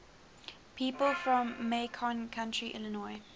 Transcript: people from macon county illinois